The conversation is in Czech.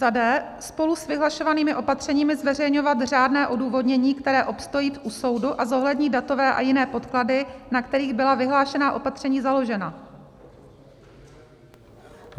d) spolu s vyhlašovanými opatřeními zveřejňovat řádné odůvodnění, které obstojí u soudu a zohlední datové a jiné podklady, na kterých byla vyhlášená opatření založena.